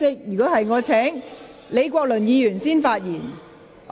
若然，我會先請李國麟議員發言。